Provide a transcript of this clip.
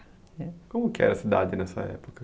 Como que era a cidade nessa época?